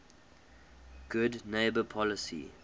good neighbor policy